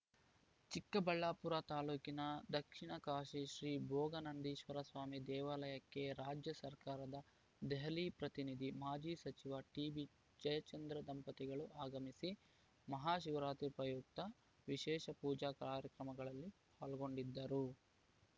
ಚಿಕ್ಕಬಳ್ಳಾಪುರ ತಾಲ್ಲೂಕಿನ ದಕ್ಷಿಣ ಕಾಶಿ ಶ್ರೀ ಭೋಗನಂದೀಶ್ವರಸ್ವಾಮಿ ದೇವಾಲಯಕ್ಕೆ ರಾಜ್ಯ ಸರ್ಕಾರದ ದೆಹಲಿ ಪ್ರತಿನಿಧಿ ಮಾಜಿ ಸಚಿವ ಟಿಬಿ ಜಯಚಂದ್ರ ದಂಪತಿಗಳು ಆಗಮಿಸಿ ಮಹಾ ಶಿವರಾತ್ರಿ ಪ್ರಯುಕ್ತ ವಿಶೇಷ ಪೂಜಾ ಕಾರ್ಯಕ್ರಮಗಳಲ್ಲಿ ಪಾಲ್ಗೊಂಡಿದ್ದರು